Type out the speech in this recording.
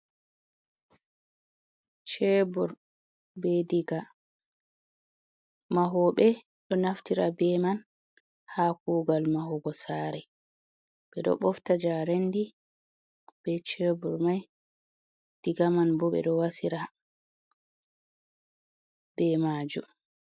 Cheebur be digaa, mahoɓee ɗo naftira bee man ha kuugal mahuugo saare. Ɓeɗo ɓofta njarendi be cheebur mai, digaa manbo ɓeɗo wasiira be maajum.